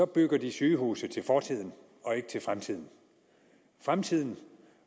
bygger de sygehuse til fortiden og ikke til fremtiden fremtiden